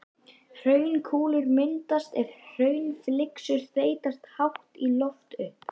Hraunkúlur myndast er hraunflygsur þeytast hátt í loft upp.